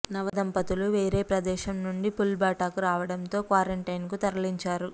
నవ దంపతులు వేరే ప్రదేశం నుంచి పుల్భట్టాకు రావడంతో క్వారంటైన్కు తరలించారు